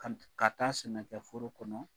Ka ka taa sɛnɛkɛ foro kɔnɔ